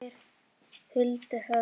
Fara þeir huldu höfði?